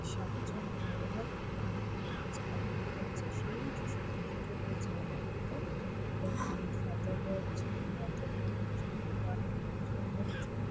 সাতজন বড়লোক এবং এ বাচ্চাটা দেখা যাচ্ছে সেই যীশুখ্রীষ্ট ওই জায়গাটিতে | আর অনেক লোকজন রয়েছে।